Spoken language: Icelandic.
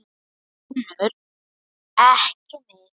UNNUR: Ekki mitt.